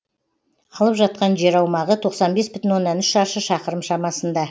алып жатқан жер аумағы тоқсан бес бүтін оннан үш шаршы шақырым шамасында